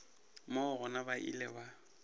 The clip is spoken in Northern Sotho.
moo gona ba ile ba